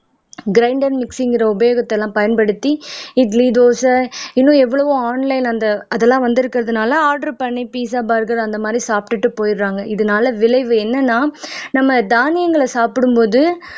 grinder மிக்ஸிங்கிற உபயோகத்தை எல்லாம் பயன்படுத்தி இட்லி தோசை இன்னும் எவ்வளவோ ஆன்லைன் அந்த அதெல்லாம் வந்திருக்கிறதுனால ஆர்டர் பண்ணி பிட்சா பர்கர் அந்த மாதிரி சாப்பிட்டுட்டு போயிடறாங்க இதனால விளைவு என்னன்னா நம்ம தானியங்களை சாப்பிடும்போது